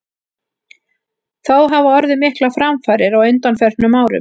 Þó hafa orðið miklar framfarir á undanförnum árum.